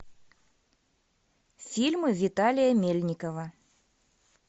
фильмы виталия мельникова